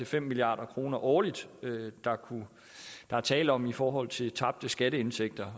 fem milliard kroner årligt der er tale om i forhold til tabte skatteindtægter